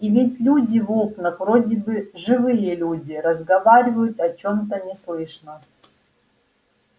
и ведь люди в окнах вроде бы живые люди разговаривают о чем-то неслышно